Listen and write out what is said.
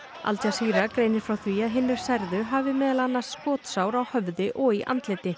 al Jazeera greinir frá því að hinir særðu hafi meðal annars skotsár á höfði og í andliti